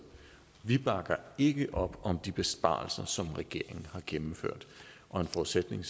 vi bakker ikke op om de besparelser som regeringen har gennemført og en forudsætning